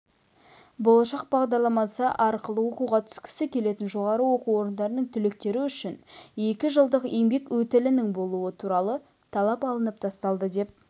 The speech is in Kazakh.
болашақ бағдарламасы арқылы оқуға түскісі келетін жоғары оқу орындарының түлектері үшін екі жылдық еңбек өтілінің болуы туралы талап алынып тасталды деп